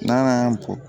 N'a y'a bɔ